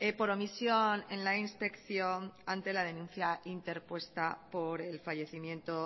por omisión en la inspección ante la denuncia interpuesta por el fallecimiento